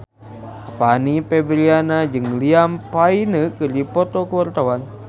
Fanny Fabriana jeung Liam Payne keur dipoto ku wartawan